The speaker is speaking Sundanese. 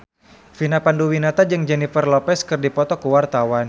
Vina Panduwinata jeung Jennifer Lopez keur dipoto ku wartawan